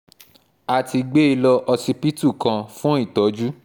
a ti gbé e lọ́ọ́ ọsibítù kan fún ìtọ́jú